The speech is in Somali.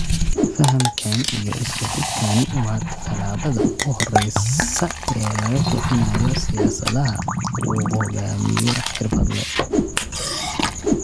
Fahamkan iyo isku xidhkani waa talaabada ugu horeysa ee lagu kicinayo siyaasadaha uu hogaamiyo xirfadle.